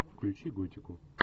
включи готику